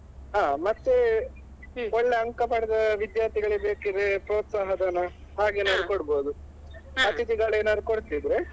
ಹಾ ಮತ್ತೆ ಒಳ್ಳೆ ಅಂಕ ಪಡೆದ ವಿದ್ಯಾರ್ಥಿಗಳಿಗೆ ಪ್ರೋತ್ಸಾಹ ಧನ ಹಾಗೆ ಏನಾದ್ರೂ ಕೊಡ್ಬೋದು ಅತಿಥಿಗಳು ಏನಾದ್ರು ಕೊಡ್ತಿದ್ರೆ,